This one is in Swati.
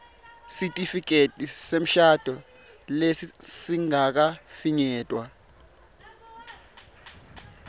sitifiketi semshado lesingakafinyetwa